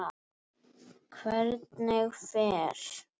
Hvernig fer?